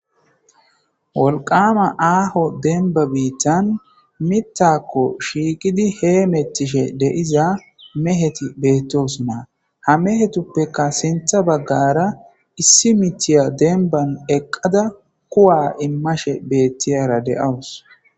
Wolqama aaho denba biittan mittakko shiiqidi hee mettishe deiza meheti beettos maa ha mehetuppeka sintha baggara issi mitiya denban eqqada kuwa immashe beettiyara deawus.